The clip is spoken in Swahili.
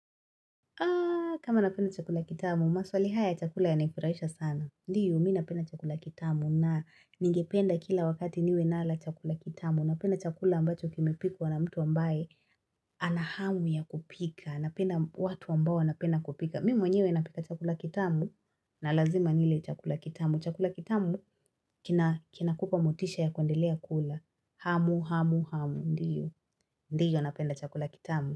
Aaaa, kama napenda chakula kitamu, maswali haya chakula ya nifuraisha sana. Ndiyo, mi napenda chakula kitamu na ningependa kila wakati niwe nala chakula kitamu. Napenda chakula ambacho kimepikwa na mtu ambaye anahamu ya kupika. Napenda watu ambao wanapenda kupika. Mimi mwenyewe napika chakula kitamu na lazima nile chakula kitamu. Chakula kitamu kinakupa motisha ya kuendelea kula. Hamu, hamu, hamu. Ndiyo. Ndiyo napenda chakula kitamu.